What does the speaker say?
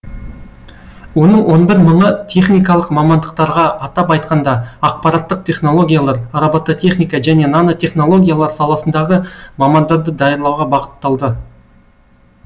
оның он бір мыңы техникалық мамандықтарға атап айтқанда ақпараттық технологиялар робототехника және нано технологиялар саласындағы мамандарды даярлауға бағытталды